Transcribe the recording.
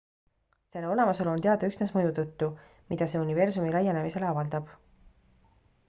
selle olemasolu on teada üksnes mõju tõttu mida see universumi laienemisele avaldab